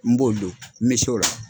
N b'olu don n bɛ se o la.